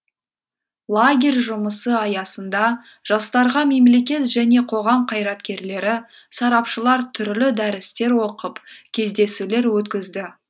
лагерь жұмысы аясында жастарға мемлекет және қоғам қайраткерлері сарапшылар түрлі дәрістер оқып кездесулер өткізді